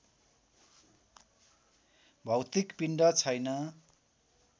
भौतिक पिण्ड छैन